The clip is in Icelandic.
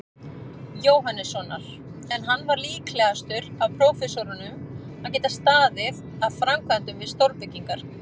Jóhannessonar, en hann var líklegastur af prófessorunum að geta staðið að framkvæmdum við stórbyggingar.